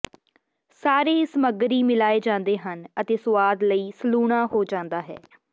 ਸਾਰੇ ਸਾਮੱਗਰੀ ਮਿਲਾਏ ਜਾਂਦੇ ਹਨ ਅਤੇ ਸੁਆਦ ਲਈ ਸਲੂਣਾ ਹੋ ਜਾਂਦਾ ਹੈ